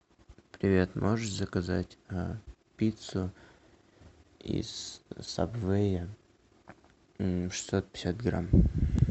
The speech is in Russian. привет можешь заказать пиццу из сабвея шестьсот пятьдесят грамм